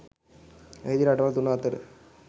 එහිදී රටවල් තුන අතර